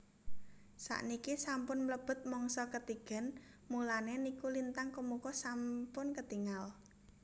Sakniki sampun mlebet mangsa ketigen mulane niku lintang kemukus sampun ketingal